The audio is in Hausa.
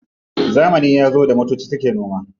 Zamani yazo da motocin da suke noma.